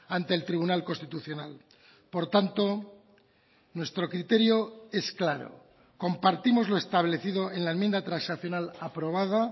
ante el tribunal constitucional por tanto nuestro criterio es claro compartimos lo establecido en la enmienda transaccional aprobada